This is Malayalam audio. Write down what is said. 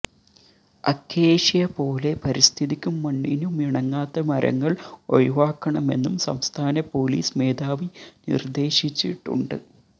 അക്കേഷ്യ പോലെ പരിസ്ഥിതിക്കും മണ്ണിനുമിണങ്ങാത്ത മരങ്ങൾ ഒഴിവാക്കണമെന്നും സംസ്ഥാന പൊലീസ് മേധാവി നിർദേശിച്ചിട്ടുണ്ട്